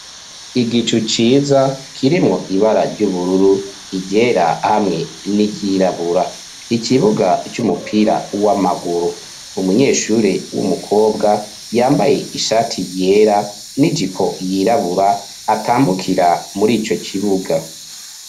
Igicu ciza kirimwo ibara ry'ubururu , ryera hamwe n'iyirabura ikibuga c'umupira w'amaguru umunyeshuri w'umukobwa yambaye ishati yera n'ijipo yirabura atambukira muri ico kibuga.